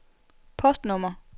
postnummer